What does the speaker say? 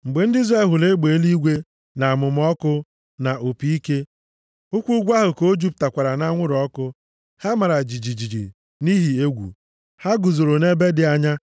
Mgbe ndị Izrel hụrụ egbe eluigwe, na amụma ọkụ, na opi ike, hụkwa ugwu ahụ ka o jupụtakwara nʼanwụrụ ọkụ, ha mara jijiji nʼihi egwu. Ha guzoro nʼebe dị anya,